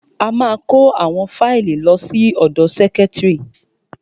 Ó ma kó àwọn fáìlì lọ sí ọ̀dọ sẹ́kítrì.